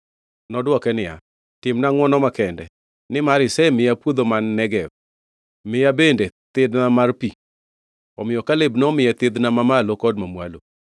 Nodwoko niya, “Timna ngʼwono makende. Nimar isemiya puodho man Negev, miya bende thidhna mar pi.” Omiyo Kaleb nomiye thidhna ma malo kod mamwalo.